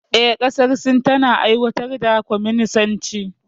Eh, ƙasar Sin tana aiwatar da kwaminisanci.